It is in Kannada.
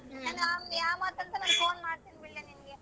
ಯಾಮಂತ್ ಅಂತ ನಾನ್ phone ಮಾಡ್ತೀನಿ ಬಿಡಲೇ.